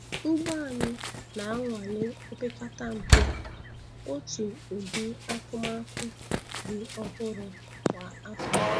Ugbo anyị na-anwale opeketa mpe otu udi akụmakụ dị ọhụrụ kwa afọ